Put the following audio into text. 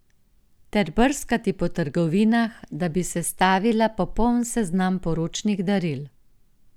Ter brskati po trgovinah, da bi sestavila popoln seznam poročnih daril.